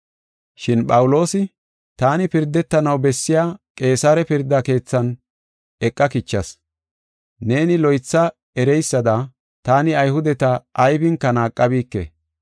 Shin Phawuloosi, “Taani pirdetanaw bessiya Qeesare pirda keethan eqa kichas. Neeni loytha ereysada taani Ayhudeta aybinka naaqabike.